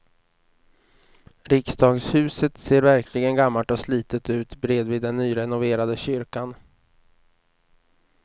Riksdagshuset ser verkligen gammalt och slitet ut bredvid den nyrenoverade kyrkan.